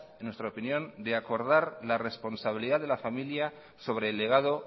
en nuestra opinión de acordar la responsabilidad de la familia sobre el legado